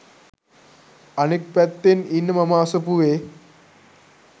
අනෙක් පැත්තෙන් ඉන්න මම අසපුවේ